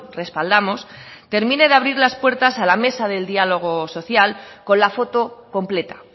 respaldamos termine de abrir las puertas a la mesa de diálogo social con la foto completa